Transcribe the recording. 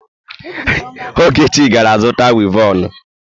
Ogechi gara zuta wivọnụ.